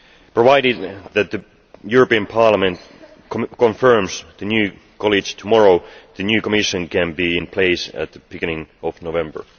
Provided that Parliament confirms the new College tomorrow, the new Commission can be in place at the beginning of November.